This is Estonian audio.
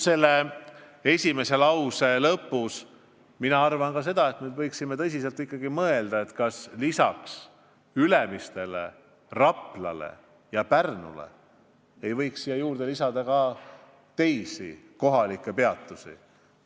Aga ma arvan ka seda, et me võiksime ikkagi tõsiselt mõelda, kas lisaks Ülemistele, Raplale ja Pärnule ei võiks ette näha ka teisi kohalikke peatusi.